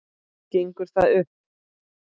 Gengur það upp?